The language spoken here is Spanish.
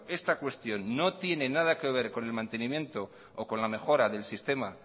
esta cuestión no tiene nada que ver con el mantenimiento o con la mejora del sistema